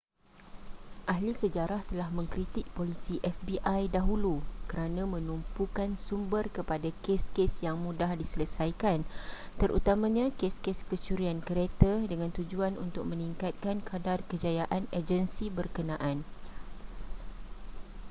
ahli sejarah telah mengkritik polisi fbi dahulu kerana menumpukan sumber kepada kes-kes yang mudah diselesaikan terutamanya kes-kes kecurian kereta dengan tujuan untuk meningkatkan kadar kejayaan agensi berkenaan